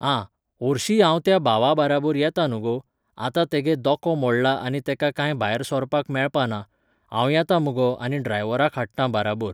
हां, होरशी हांव त्या भावा बाराबोर येता न्हू गो. आतां तेगे दोको मोडलां आनी तेका कांय भायर सोरपाक मेळपा ना. हांव येतां मगो आनी ड्रायव्हाराक हाडटां बाराबोर.